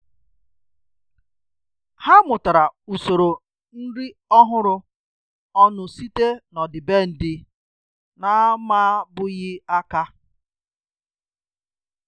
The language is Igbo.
Há mụ́tàrà usoro nrí ọ́hụ́rụ́ ọnụ site n’ọ́dị́bèndị̀ nà-àmábụ́ghị́ áká.